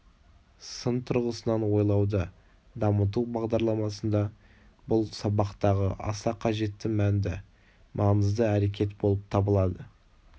сын тұрғысынан ойлауды дамыту бағдарламасында бұл сабақтағы аса қажетті мәнді маңызды әрекет болып табылады